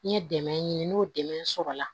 N ye dɛmɛ ɲini n'o dɛmɛ sɔrɔ la